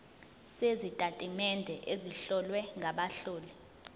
sezitatimende ezihlowe ngabahloli